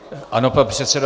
Ano, pane předsedo.